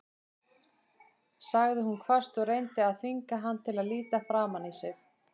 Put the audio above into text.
sagði hún hvasst og reyndi að þvinga hann til að líta framan í sig.